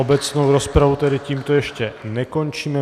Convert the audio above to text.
Obecnou rozpravu tedy tímto ještě nekončím.